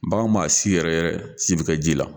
Bagan m'a si yɛrɛ yɛrɛ si bɛ kɛ ji la.